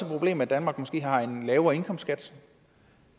problem at danmark måske har en lavere indkomstskat